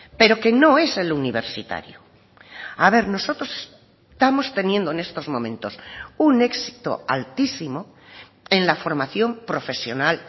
pero que no es el universitario a ver nosotros estamos teniendo en estos momentos un éxito altísimo en la formación profesional